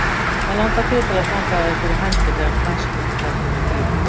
Hvað langar þig að taka þér fyrir hendur þegar knattspyrnuferlinum lýkur?